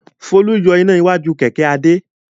Folú yọ iná iwájú kẹ̀kẹ́ Adé.